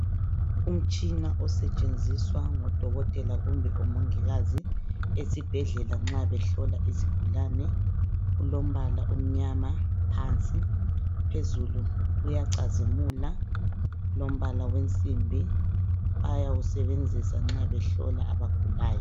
Umtshina osetshenziswa ngodokotela kumbe omongikazi esibhedlela nxa behlola izigulane. Ulombala omnyama phansi, phezulu uyacazimula ulombala wensimbi. Bayawusebenzisa nxa behlola abagulayo.